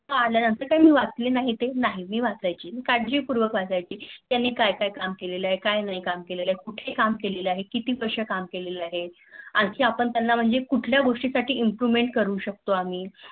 कि आल्यानंतर मी वाचले नाही मी वाचायची, काळजी पूर्वक वाचायचे त्यानी काय काय काम केलेले आहे काय नाही काम केलेलं आहे. कुठे काम केलेलं हे किती वर्ष काम केले आहे आणखी पण त्याना कुठल्या गोष्टी साठी Improvement करू शकतो आम्ही